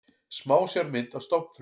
Smásjármynd af stofnfrumu.